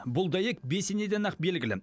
бұл дәйек бесенеден ақ белгілі